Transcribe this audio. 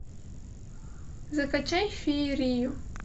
закачай феерию